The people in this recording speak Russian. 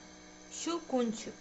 щелкунчик